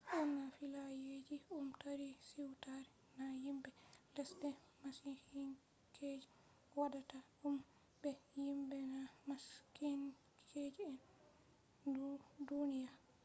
ɓurna fillayeeji ɗum tarii siwtare na yimbe lesde masiihinkeje waɗata ɗum be yimɓe na masiihinkeje nder duniyaa